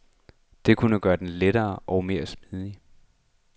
Det kunne gøre den lettere og mere smidig.